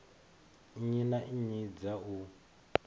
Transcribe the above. nnyi na nnyi dza u